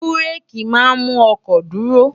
bú́réèkì máa ń mú ọkọ̀ dúró